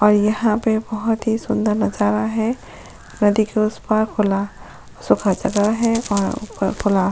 और यहां पे बहुत ही सुंदर नजर आ रहा है नदी के उस पार खुला सुखा जगह है और ऊपर खुला।